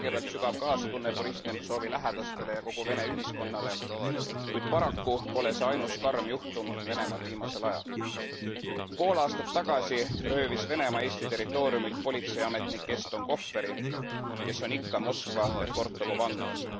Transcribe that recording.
Kõigepealt sügav kaastunne Boriss Nemtsovi lähedastele ja kogu Vene ühiskonnale, kuid paraku pole see ainus karm juhtum Venemaal viimasel ajal. Pool aastat tagasi röövis Venemaa Eesti territooriumilt politseiametnik Eston Kohveri, kes on ikka Moskva Lefortovo vanglas.